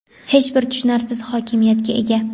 hech bir tushunarsiz hokimiyatga ega.